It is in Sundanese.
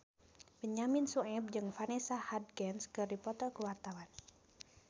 Benyamin Sueb jeung Vanessa Hudgens keur dipoto ku wartawan